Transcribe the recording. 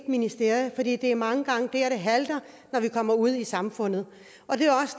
ministerie for det er mange gange der det halter når vi kommer ud i samfundet